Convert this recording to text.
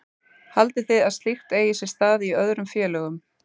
Haldið þið að slíkt eigi sér stað í öðrum félögum?